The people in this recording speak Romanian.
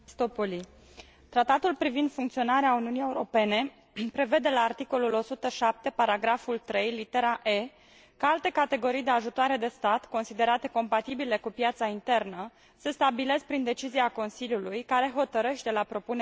Tratatul privind funcționarea Uniunii Europene prevede la articolul 107 paragraful 3 litera că alte categorii de ajutoare de stat, considerate compatibile cu piața internă, se stabilesc prin decizia Consiliului, care hotărăște la propunerea Comisiei.